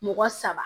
Mɔgɔ saba